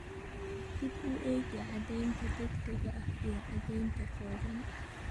Dib u eegis caddaynta degdega ah iyo caddayn kooban,